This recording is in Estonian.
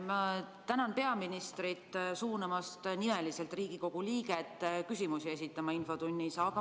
Ma tänan peaministrit suunamast nimeliselt Riigikogu liiget infotunnis küsimusi esitama.